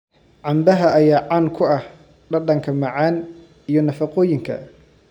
Canbaha ayaa caan ku ah dhadhanka macaan iyo nafaqooyinka.